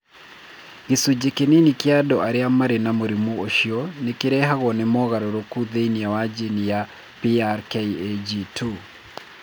Gĩcunjĩ kĩnini kĩa andũ arĩa marĩ na mũrimũ ũcio nĩ kĩrehagwo nĩ mogarũrũku thĩinĩ wa jini ya PRKAG2.